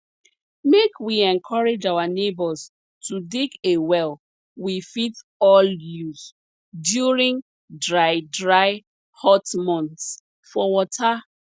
make we encourage our neighbors to dig a well we fit all use during dry dry hot months for water